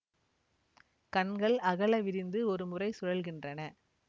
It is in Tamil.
கண்கள் அகல விரிந்து ஒருமுறை சுழல்கின்றன